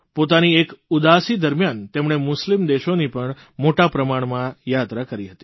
પોતાની એક ઉદાસી દરમ્યાન તેમણે મુસ્લિમ દેશોની પણ મોટાપ્રમાણમાં યાત્રા કરી હતી